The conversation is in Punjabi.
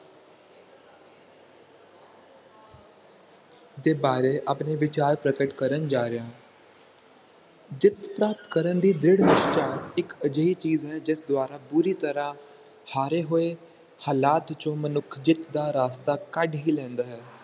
ਦੇ ਬਾਰੇ ਆਪਣੇ ਵਿਚਾਰ ਪ੍ਰਕਟ ਕਰਨ ਜਾ ਰਿਹਾ ਹਾਂ ਚਿੱਤ ਦਾ ਕਰਨ ਦੀ ਦ੍ਰਿੜ ਨਿਸ਼ਠਾ ਇੱਕ ਅਜੇਹੀ ਚੀਜ਼ ਹੈ ਜਿਸ ਦੁਆਰਾ ਪੂਰੀ ਤਰ੍ਹਾਂ ਹਾਰੇ ਹੋਏ ਹਾਲਾਤ ਵਿੱਚੋ ਮਨੁੱਖ ਜਿੱਤ ਦਾ ਰਾਸਤਾ ਕੱਢ ਹੀ ਲੈਂਦਾ ਹੈ